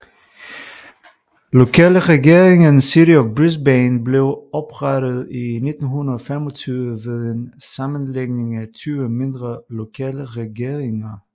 Lokalregeringen City of Brisbane blev oprettet i 1925 ved en sammenlægning af 20 mindre lokalregeringer